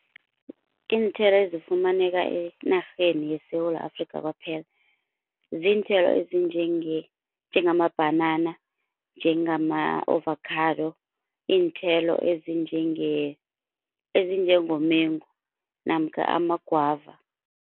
Iinthelo ezifumaneka enarheni yeSewula Afrikha kwaphela ziinthelo ezinjenge njengamabhanana, njengama-ovakhado, iinthelo ezinjenge ezinjengomengo namkha ama-guava.